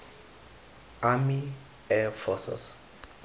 army air forces